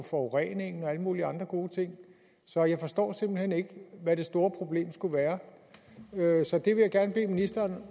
forureningen og alle mulige andre gode ting så jeg forstår simpelt hen ikke hvad det store problem skulle være så det vil jeg gerne bede ministeren